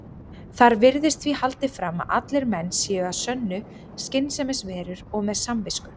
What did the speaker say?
Þar virðist því haldið fram að allir menn séu að sönnu skynsemisverur og með samvisku.